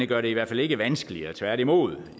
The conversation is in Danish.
gør det i hvert fald ikke vanskeligere tværtimod